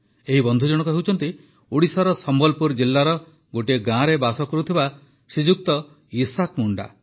ଏହି ବନ୍ଧୁଜଣକ ହେଉଛନ୍ତି ଓଡ଼ିଶାର ସମ୍ବଲପୁର ଜିଲ୍ଲାର ଗୋଟିଏ ଗାଁରେ ବାସ କରୁଥିବା ଶ୍ରୀଯୁକ୍ତ ଇସାକ୍ ମୁଣ୍ଡା